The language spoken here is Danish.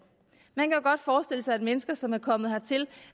man kan jo godt forestille sig at mennesker som er kommet hertil